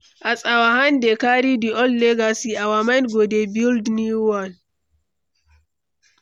As our hand dey carry the old legacy, our mind go dey build new one.